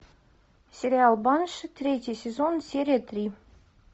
сериал банши третий сезон серия три